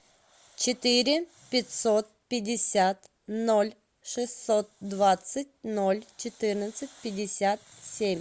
четыре пятьсот пятьдесят ноль шестьсот двадцать ноль четырнадцать пятьдесят семь